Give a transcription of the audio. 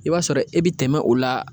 I b'a sɔrɔ e bi tɛmɛ o la